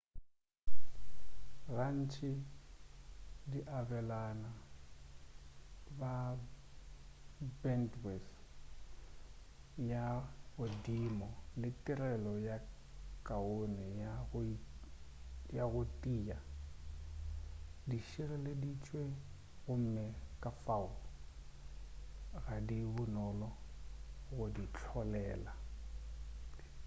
gantši di abelana ka bendwith ya godimo le tirelo ye kaone ya go tia di tšhireleditšwe gomme kafao ga di bonolo go di hlolela